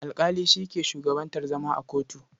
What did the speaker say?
Alƙali shi ke shugabantar zama a kotu.